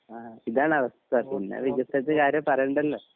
ഇതാണ് അവസ്ഥ പിന്നെ വികസത്ത് കാര്യം പറണ്ടാലോ